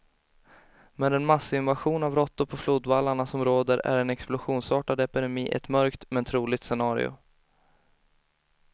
Med den massinvasion av råttor på flodvallarna som råder är en explosionsartad epidemi ett mörkt, men troligt scenario.